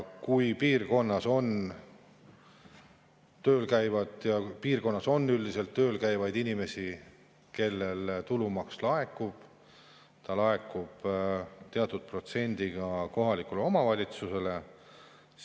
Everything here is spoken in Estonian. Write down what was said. Kui piirkonnas on üldiselt tööl käivaid inimesi, siis nende tulumaksult laekub teatud protsent kohalikule omavalitsusele.